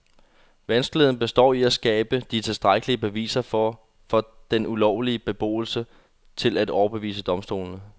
Vanskeligheden består i at skabe de tilstrækkelige beviser for den ulovlige beboelse til at overbevise domstolene.